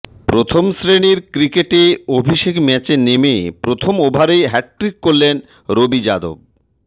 প্রথম শ্রেণির ক্রিকেটে অভিষেক ম্যাচে নেমে প্রথম ওভারেই হ্যাটট্রিক করলেন রবি যাদব